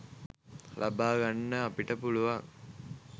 ලබා ගන්න අපට පුළුවන්.